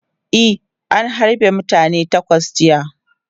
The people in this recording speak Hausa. E, an harbe mutane takwas jiya.